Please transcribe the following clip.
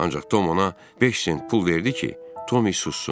Ancaq Tom ona 5 sent pul verdi ki, Tommy sussun.